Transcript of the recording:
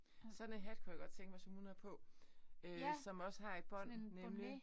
Sådan et hat kunne jeg godt tænke mig som hun har på øh som også har et bånd nemlig